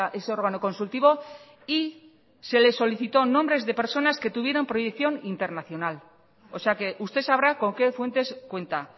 ese órgano consultivo y se le solicitó nombres de personas que tuvieran proyección internacional o sea que usted sabrá con qué fuentes cuenta